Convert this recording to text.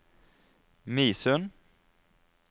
Midsund